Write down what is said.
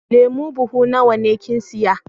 Lemu buhu nawa ne kin siya?